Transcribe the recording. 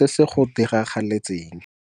se se go diragaletseng.